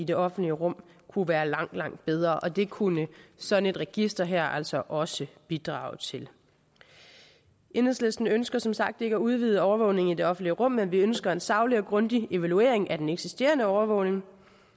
det offentlige rum kunne være langt langt bedre og det kunne sådan et register her altså også bidrage til enhedslisten ønsker som sagt ikke at udvide overvågningen i det offentlige rum men vi ønsker en saglig og grundig evaluering af den eksisterende overvågning